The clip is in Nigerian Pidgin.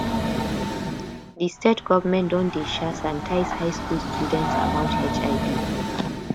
di state government don dey um sanitize high school students about hiv